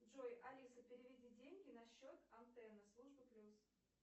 джой алиса переведи деньги на счет алтена служба плюс